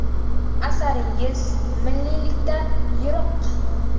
Asaringiz milliylikdan yiroq.